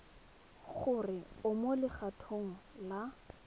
gore o mo legatong la